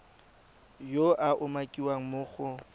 yo a umakiwang mo go